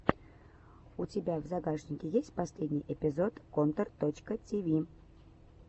у тебя в загашнике есть последний эпизод контор точка ти ви